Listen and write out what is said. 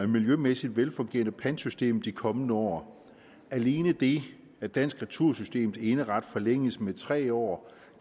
miljømæssigt velfungerende pantsystem de kommende år alene det at dansk retursystems eneret forlænges med tre år